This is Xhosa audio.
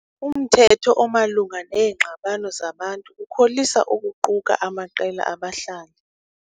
Umthetho omalunga neengxabano zabantu ukholisa ukuquka amaqela abahlali.